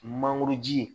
Mangoro ji